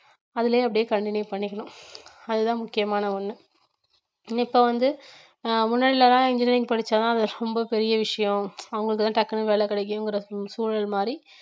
அதிலேயே அப்படியே continue பண்ணிக்கணும் அதுதான் முக்கியமான ஒண்ணு என்ன இப்ப வந்து ஆஹ் முன்னாடிலதான் engineering படிச்சாதான் அது ரொம்ப பெரிய விஷயம் அவங்களுக்குதான் டக்குன்னு வேலை கிடைக்குங்கிற சூ~ சூழல் மாறி